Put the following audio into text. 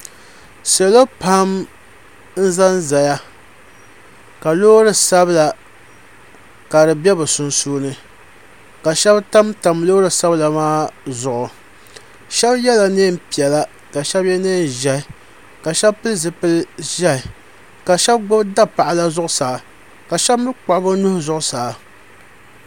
salo pam n zan zaya ka lori sabila ka di bɛ be sunsuuni ka shɛbi tamtam lori sabila maa zuɣ' shɛbi yɛla nɛnpiɛlla ka shɛbi yɛ nɛnʒiɛhi la shɛbi pɛli zibili ʒiɛhi ka shɛbi gbabi dapaɣila zuɣ saa ka shɛbi mi kpagi be nuuhi zuɣ saa